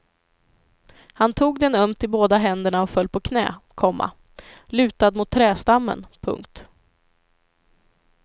Han tog den ömt i båda händerna och föll på knä, komma lutad mot trädstammen. punkt